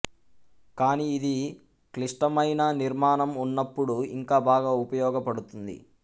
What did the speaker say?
కానీ ఇది క్లిశ్టమైన నిర్మాణం ఉన్నప్పుడు ఇంకా బాగా ఉపయోగపడుతుంది